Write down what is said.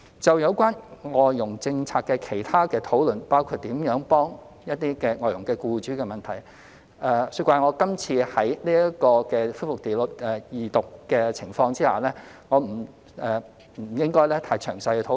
就有關外傭政策的其他討論，包括如何幫助外傭僱主的問題，恕我這次在恢復二讀辯論的情況下，不應太詳細討論。